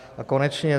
A konečně